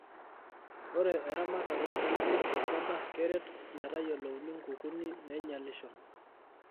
Ore eramatare oo lukunguni tolchamba keret metayiolouni ngukuni nainyalisho.